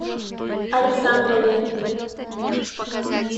александрове